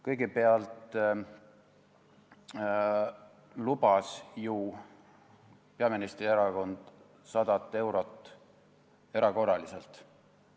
Kõigepealt lubas ju peaministrierakond erakorraliselt 100 eurot.